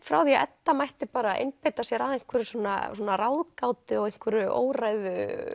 frá því að Edda mætti bara einbeita sér að einhverju svona ráðgátu og einhverju óræðu